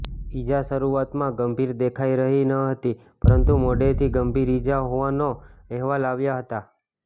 ઇજા શરૂઆતમાં ગંભીર દેખાઈ રહી ન હતી પરંતુ મોડેથી ગંભીર ઇજા હોવાના અહેવાલ આવ્યા હતા